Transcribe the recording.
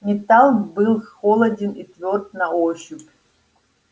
металл был холоден и твёрд на ощупь